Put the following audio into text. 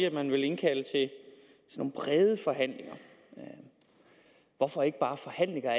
at man vil indkalde til nogle brede forhandlinger hvorfor ikke bare forhandlinger